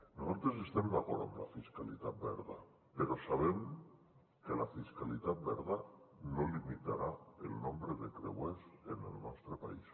nosaltres estem d’acord amb la fiscalitat verda però sabem que la fiscalitat verda no limitarà el nombre de creuers en el nostre país